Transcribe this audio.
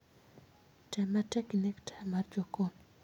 Tem matek ineg taya mar jokon